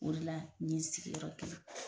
O de la n ye n sigi yɔrɔ kelen.